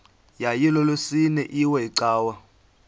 yayilolwesine iwe cawa